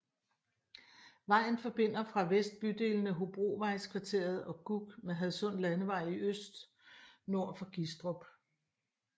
Vejen forbinder fra vest bydelene Hobrovejskvarteret og Gug med Hadsund Landevej i øst nord for Gistrup